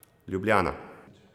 Ljubljana.